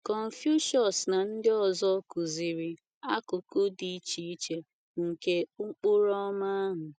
Confucius na ndị ọzọ kụziri akụkụ dị iche iche nke Ụkpụrụ Ọma ahụ